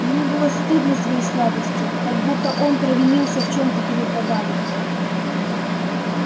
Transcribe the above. ему было стыдно своей слабости как будто он провинился в чём то перед богами